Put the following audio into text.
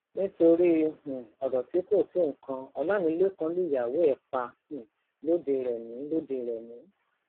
nítorí um ọrọ tí kò tó nǹkan ọlámilekan lùyàwó ẹ pa um lọdẹrèmi lọdẹrèmi